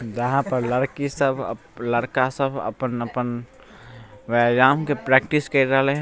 वहाँ पर लड़की सब लड़का सब अपन-अपन व्याम के प्रैक्टिस केर रहले --